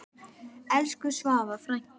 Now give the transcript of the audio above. Elsku Svava frænka.